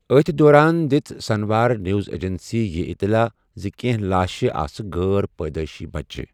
أتھۍ دوران دِژ سنہوا نیوز ایجنسی یہِ اطلاع زِ کینٛہہ لاشہِ آسہٕ غٲر پٲدٔیشی بچہِ۔